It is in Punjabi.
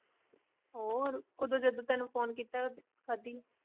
ਹੋਰ ਉਦੋਂ ਜਦੋਂ ਤੈਨੂੰ phone ਕੀਤਾ ਉਦੋਂ ਖਾਧੀ ਹੈ।